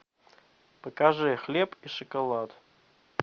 покажи хлеб и шоколад